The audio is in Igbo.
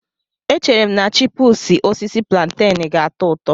Echere m na chipúsí osisi púlantenú ga-atọ ụtọ